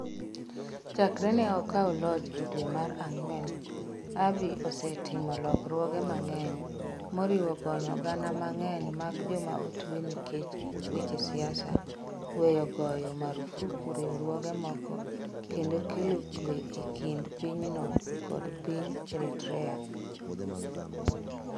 Chakre ne okaw loch e dwe mar ang'wen, Abiy osetimo lokruoge mang'eny - moriwo gonyo gana mang'eny mag joma otue nikech weche siasa, weyo goyo marfuk riwruoge moko, kendo kelo kuwe e kind pinyno kod piny Eritrea.